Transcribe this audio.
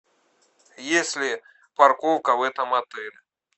есть ли парковка в этом отеле